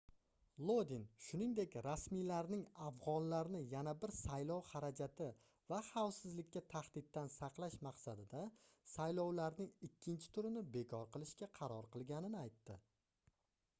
lodin shuningdek rasmiylarning afgʻonlarni yana bir saylov xarajati va xavfsizlikka tahdiddan saqlash maqsadida saylovlarning ikkinchi turini bekor qilishga qaror qilganini aytdi